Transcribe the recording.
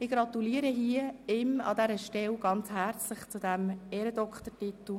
Ich gratuliere ihm an dieser Stelle sehr herzlich zu diesem Ehrendoktortitel.